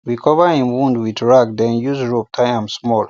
we cover hin wound with rag then use rope tie am small